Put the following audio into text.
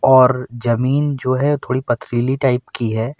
और जमीन जो है थोड़ी पथरीली टाइप की है।